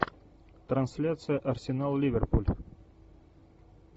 трансляция арсенал ливерпуль